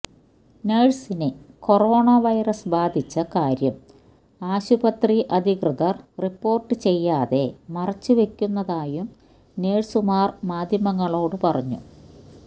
നഴ്സിന് corona virus ബാധിച്ച കാര്യം ആശുപത്രി അധികൃതര് റിപ്പോര്ട്ട് ചെയ്യാതെ മറച്ചുവയ്ക്കുന്നതായും നഴ്സുമാര് മാധ്യമങ്ങളോട് പറഞ്ഞു